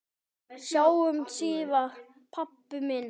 Sjáumst síðar, pabbi minn.